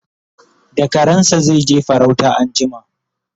da karansa zaije farauta anjima